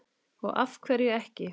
Og af hverju ekki?